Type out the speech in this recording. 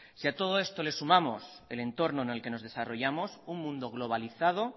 si a todo esto le sumamos el entorno en el que nos desarrollamos un mundo globalizado